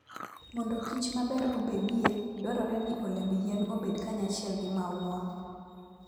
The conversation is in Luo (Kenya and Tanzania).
Mondo kichmaber obedie, dwarore ni olemb yien obed kanyachiel gi maua.